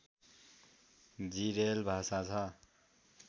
जिरेल भाषा छ